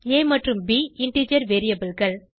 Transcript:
ஆ மற்றும் ப் இன்டிஜர் variableகள்